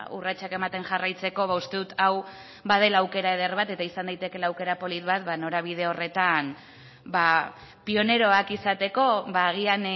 urratsak ematen jarraitzeko uste dut hau badela aukera eder bat eta izan daitekeela aukera polit bat norabide horretan pioneroak izateko agian